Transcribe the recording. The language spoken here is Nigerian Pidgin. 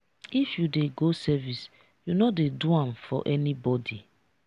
if you dey go service you no dey do am for anybodi.